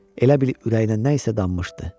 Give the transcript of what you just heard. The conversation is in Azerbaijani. Elə bil ürəyinə nə isə danmışdı.